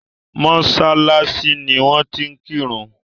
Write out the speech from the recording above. mọ́sálásí ni wón ti ń kírun.